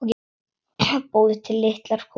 Búið til litlar kúlur.